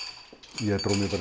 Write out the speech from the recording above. ég dró mig bara